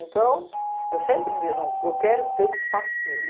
Então, eu sempre dizia, não, eu quero ter um espaço meu.